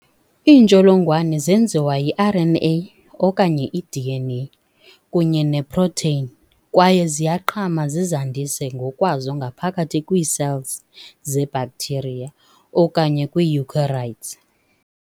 Iintsholongwane zenziwa yi-RNA, okanye i-DNA, kunye ne-protein, kwaye ziyaqhama zizandise ngokwazo ngaphakathi kwii-cells ze-bacteria okanye kwi-eukaryotes.